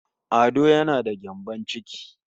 Ado yana da gyambon ciki